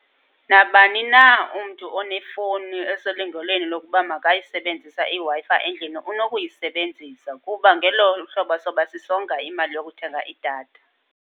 Nabani na umntu onefowuni eselungelweni lokuba makayisebenzisa iWi-Fi endlini unokuyisebenzisa, kuba ngelo hlobo soba sisonga imali yokuthenga idatha.